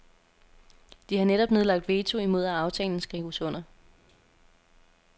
De har netop nedlagt veto imod at aftalen skrives under.